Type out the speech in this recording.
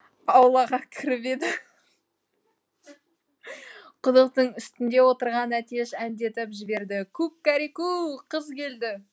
аулаға кіріп еді құдықтың үстінде отырған әтеш әндетіп жібереді ку кә ре ку қыз келді